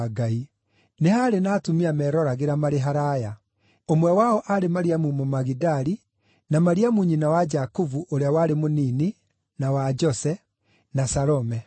Nĩ haarĩ na atumia meeroragĩra marĩ haraaya. Ũmwe wao aarĩ Mariamu Mũmagidali, na Mariamu nyina wa Jakubu ũrĩa warĩ Mũnini na wa Jose, na Salome.